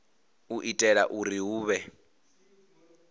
u itela uri hu vhe